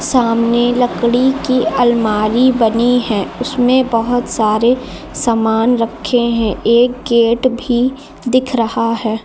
सामने लकड़ी की अलमारी बनी है उसमें बहुत सारे सामान रखे हैं एक गेट भी दिख रहा है।